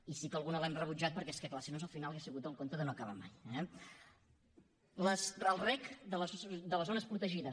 i sí que alguna l’hem rebutjat perquè és que clar si no al final hauria sigut el conte de no acabar mai eh el rec de les zones protegides